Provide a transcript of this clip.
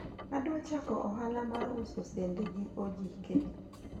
adwa chako ohala mar uso sende gi ojike